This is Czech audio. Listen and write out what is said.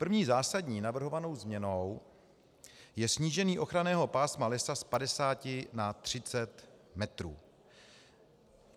První zásadní navrhovanou změnou je snížení ochranného pásma lesa z 50 na 30 metrů.